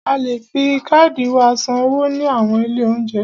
A ti le fi káàdì wa san owó ní àwọn ilé óúnjẹ.